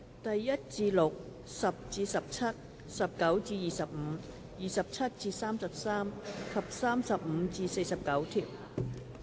第1至6、10至17、19至25、27至33及35至49條。